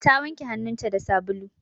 Ta wanke hannunta da sabulu.